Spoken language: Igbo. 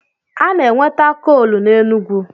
A na-enweta koolu n'Enugwu.